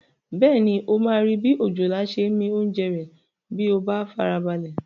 Bẹ́ẹ̀ni, o máa rí bi òjòlá ṣe ń mi oúnjẹ rẹ̀ bí o bá farabalẹ̀